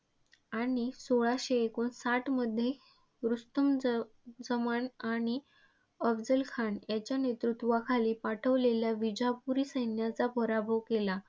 आणि सोळाशे एकोणसाठमध्ये रुस्तुम जजमाल आणि अफझलखान याच्या नेतृत्वाखाली पाठविलेल्या विजापुरी सैन्याचा पराभव केला.